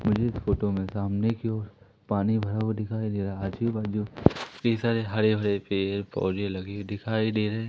मुझे इस फोटो में सामने की ओर पानी भरा हुआ दिखाई दे रहा है आजू बाजू कई सारे हरे भरे पेड़ पौधे लगे दिखाई दे रहे--